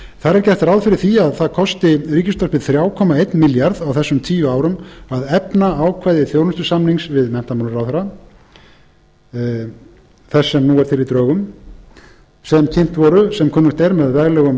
þar er gert ráð fyrir því að það kosti ríkisútvarpið þrjú komma einn milljarð króna á þessum tíu árum að efna ákvæði þjónustusamnings við menntamálaráðherra en drög að samningnum voru sem kunnugt er kynnt á veglegum